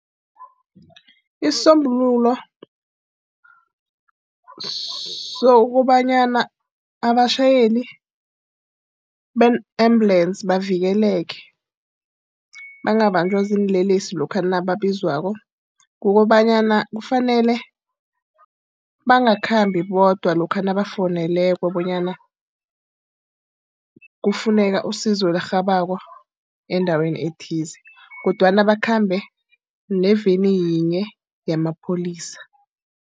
Isisombululo sokobanyana abatjhayeli bee-ambulensi bavikeleke bangabanjwa ziinlelesi lokha nababizwako. Kukobanyana kufanele bangakhambi bodwa lokha nabafowunelweko bonyana kufuneka isizo elirhabako endaweni ethize, kodwana bakhambe neveni yinye yamapholisa.